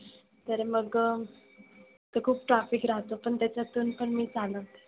तर मग तर खुप traffic राहत पण त्याच्यातुन पण मी चालवते.